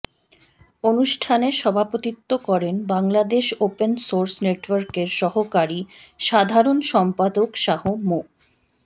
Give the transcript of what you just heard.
অনুষ্ঠানে সভাপতিত্ব করেন বাংলাদেশ ওপেন সোর্স নেটওয়ার্কের সহকারী সাধারণ সম্পাদক শাহ মো